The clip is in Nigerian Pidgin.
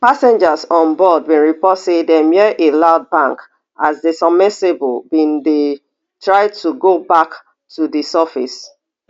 passengers on board bin report say dem hear a loud bang as di submersible bin dey try to go back to di surface